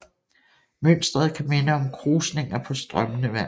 Mønstret kan minde om krusninger på strømmende vand